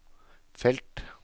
felt